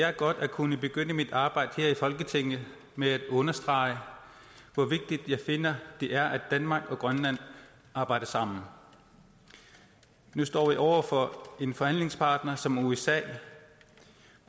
er godt at kunne begynde mit arbejde her i folketinget med at understrege hvor vigtigt jeg finder det er at danmark og grønland arbejder sammen nu står vi over for en forhandlingspartner som usa